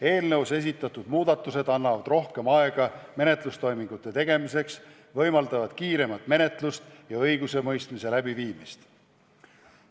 Eelnõus esitatud muudatused annavad rohkem aega menetlustoimingute tegemiseks ning võimaldavad kiiremat menetlust ja õigusemõistmist.